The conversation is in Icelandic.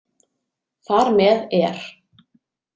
Þar með er